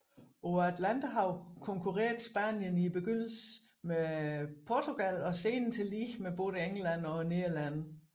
På Atlanterhavet konkurrerede Spanien i begyndelsen med med Portugal og senere tillige med både England og Nederlandene